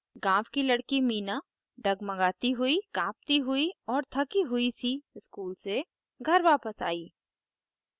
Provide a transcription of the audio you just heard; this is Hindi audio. गाँव की लड़की meena डगमगाती हुई काँपती हुई और the हुई the school से घर वापस आई